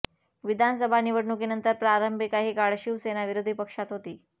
विधानसभा निवडणुकीनंतर प्रारंभी काही काळ शिवसेना विरोधी पक्षात होती